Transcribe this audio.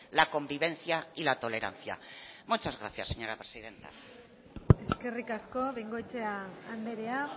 la convivencia y la tolerancia muchas gracias señora presidenta eskerrik asko bengoechea andrea